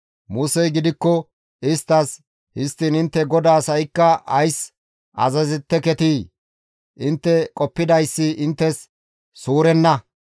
Musey gidikko isttas, «Histtiin intte GODAAS ha7ikka ays azazeteketii? Intte qoppidayssi inttes suurenna.